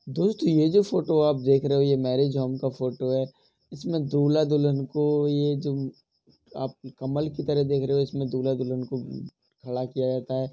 दोस्तों ये जो फोटो आप देख रहे हो ये मैरिज होम का फोटो है। इसमें दूल्हा दुल्हन को ये जो आप कमल की तरह देख रहे हो इसमें दूल्हा दुल्हन को खड़ा किया जाता है।